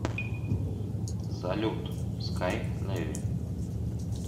салют скай левин